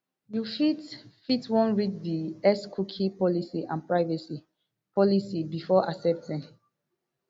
you fit fit wan read di x cookie policy and privacy policy before accepting